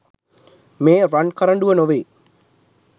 මේ රන් කරඬුව නොවේ.